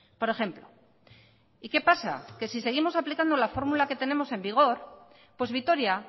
por ejemplo y qué pasa que si seguimos aplicando la fórmula que tenemos en vigor pues vitoria